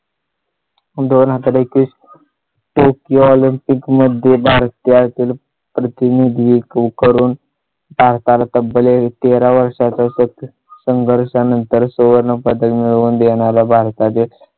दोन हजार एकवीस tokyo olympic मध्ये भारत्यातील प्रत्येक करून चार ताल तब्बल आहे. तेरा वर्षाच्या संघर्षा नंतर सुवर्ण पदक मिळवून देणारा भारतातील